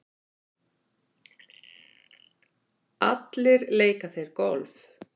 Allir leika þeir golf.